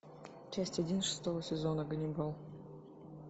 часть один шестого сезона ганнибал